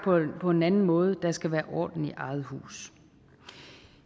på en anden måde der skal være orden i eget hus